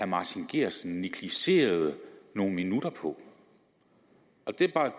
martin geertsen negligerede nogle minutter på